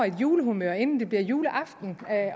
julehumør inden det bliver juleaften